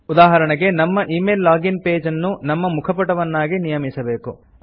ಉದಾಹರಣೆಗೆ ನಮ್ಮ email login page ಅನ್ನು ನಮ್ಮ ಮುಖ ಪುಟವಾಗಿ ನಿಯಮಿಸಬೇಕು